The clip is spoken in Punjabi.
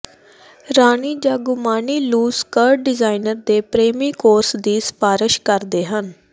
ਰਾਣੀ ਜਾਂ ਗੁਮਾਨੀ ਲੂਸ਼ ਸਕਰਟ ਡਿਜ਼ਾਈਨਰ ਦੇ ਪ੍ਰੇਮੀ ਕੋਰਸ ਦੀ ਸਿਫਾਰਸ਼ ਕਰਦੇ ਹਨ